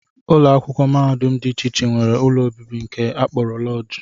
Ụlọakwụkwọ mahadum dị iche iche nwere ụlọ obibi nke a kpọrọ lọọjị